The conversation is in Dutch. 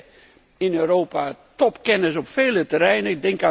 We hebben in Europa topkennis op vele terreinen.